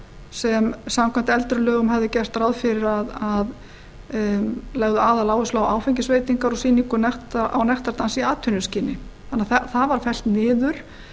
sem samkvæmt eldri lögum hafði gert ráð fyrir að legðu aðaláherslu á áfengisveitingar og sýningu á nektardansi í atvinnuskyni þannig að það var fellt niður